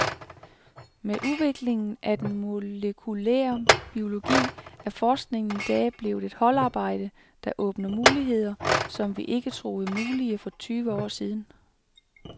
Med udviklingen af den molekylære biologi er forskningen i dag blevet et holdarbejde, der åbner muligheder, som vi ikke troede mulige for tyve år siden.